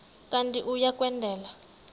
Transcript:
kanti uia kwendela